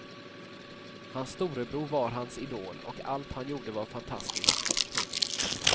Hans storebror var hans idol och allt han gjorde var fantastiskt. punkt